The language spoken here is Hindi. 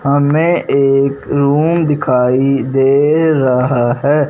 हमें एक रूम दिखाई दे रहा है।